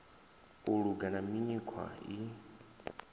u luga na mikhwa i